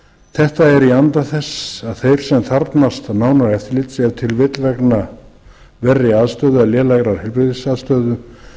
þetta er í anda þess að þeir sem þarfnast nánara eftirlits ef til vill vegna verri aðstöðu eða lélegrar